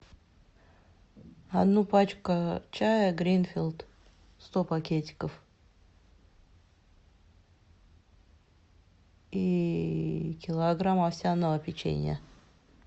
одну пачку чая гринфилд сто пакетиков и килограмм овсяного печенья